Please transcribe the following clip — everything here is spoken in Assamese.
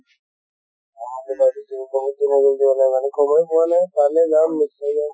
বহুত দিন হৈ গʼল যোৱা নাই মানে সময় পোৱা নাই। পালে যাম নশ্চয় যাম